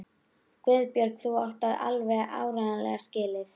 Guðbergur, þú átt það alveg áreiðanlega skilið.